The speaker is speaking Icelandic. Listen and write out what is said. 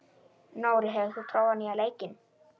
Nóri, hefur þú prófað nýja leikinn?